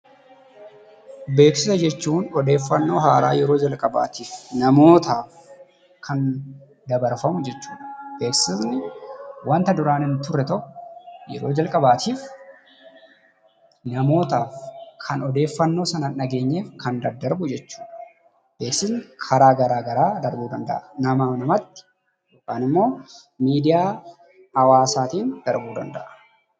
Beeksisa jechuun oddofannoo haaraa yeroo jalqabatiif namootaaf kan dabarfamu jechuudha. Beeksifni wanta duraan hin ture tokko yeroo jalqabatiif namootaaf kan oddefannoo sana hin dhageenyeef kan dadarbuu jechuudha. Beeksifni karaa gara garaa darbuu danda'aan nama namatti yookaan immoo midiyaa hawaasattin darbuu danda'a.